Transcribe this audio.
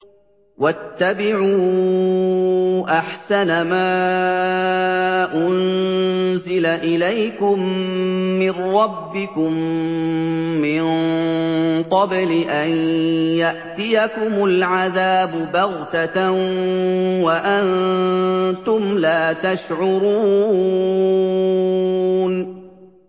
وَاتَّبِعُوا أَحْسَنَ مَا أُنزِلَ إِلَيْكُم مِّن رَّبِّكُم مِّن قَبْلِ أَن يَأْتِيَكُمُ الْعَذَابُ بَغْتَةً وَأَنتُمْ لَا تَشْعُرُونَ